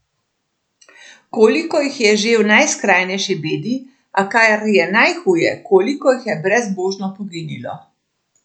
Koliko jih je že v najskrajnejši bedi, a kar je najhuje, koliko jih je brezbožno poginilo!